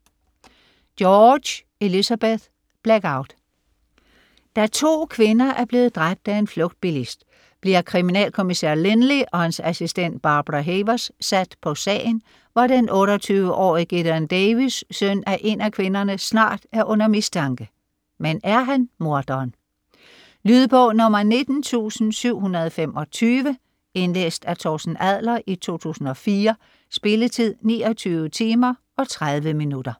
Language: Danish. George, Elizabeth: Blackout Da to kvinder er blevet dræbt af en flugtbilist, bliver kriminalkommissær Lynley og hans assistent Barbara Havers sat på sagen, hvor den 28-årige Gideon Davies, søn af en af kvinderne, snart er under mistanke, men er han morderen? Lydbog 19725 Indlæst af Torsten Adler, 2004. Spilletid: 29 timer, 30 minutter.